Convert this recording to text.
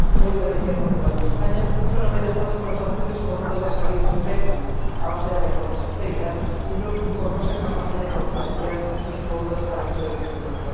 Hoy, Grecia, Portugal y España son amenazados con sanciones por no poder salir de sus déficits, a base de recortes y austeridad, y por no ser capaces de cofinanciar sus fondos para empleo y crecimiento.